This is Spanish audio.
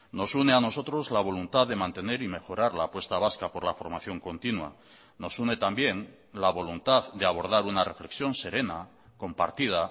nos une a nosotros la voluntad de mantener y mejorar la apuesta vasca por la formación continua nos une también la voluntad de abordar una reflexión serena compartida